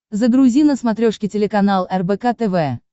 загрузи на смотрешке телеканал рбк тв